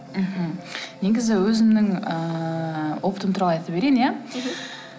мхм негізі өзімнің ыыы опытым туралы айта берейін иә мхм